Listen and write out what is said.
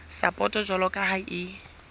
sapoto jwalo ka ha e